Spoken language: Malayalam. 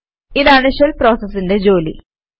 ഇതാണ് ഷെൽ പ്രോസസിന്റെ ജോലി